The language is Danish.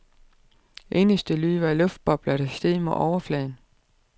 Eneste lyd var luftbobler, der steg mod overfladen.